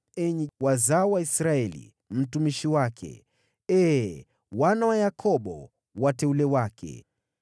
enyi wazao wa Israeli mtumishi wake, enyi wana wa Yakobo, wateule wake.